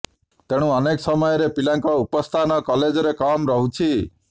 ତେଣୁ ଅନେକ ସମୟରେ ପିଲାଙ୍କ ଉପସ୍ଥାନ କଲେଜରେ କମ୍ ରହୁଛି